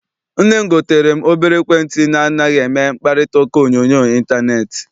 Nne m gotere m obere ekwentị na anaghị eme mkparitauka onyoonyo intaneeti.